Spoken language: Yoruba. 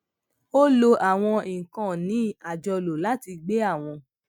ó lo àwọn ìkànnì àjọlò láti gbé àwọn